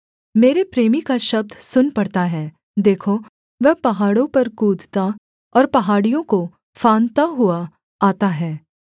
मेरे प्रेमी का शब्द सुन पड़ता है देखो वह पहाड़ों पर कूदता और पहाड़ियों को फान्दता हुआ आता है